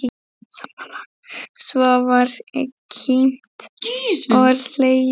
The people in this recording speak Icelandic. Svo var kímt og hlegið.